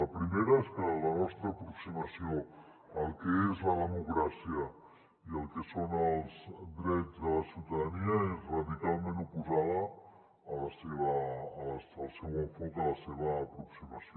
la primera és que la nostra aproximació al que és la democràcia i al que són els drets de la ciutadania és radicalment oposada al seu enfoc a la seva aproximació